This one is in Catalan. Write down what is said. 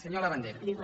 senyor labandera